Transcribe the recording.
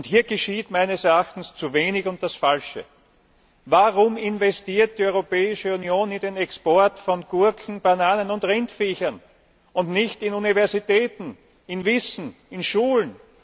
Hier geschieht meines Erachtens zu wenig und das Falsche. Warum investiert die Europäische Union in den Export von Gurken, Bananen und Rindviechern, und nicht in Universitäten, in Wissen, in Schulen?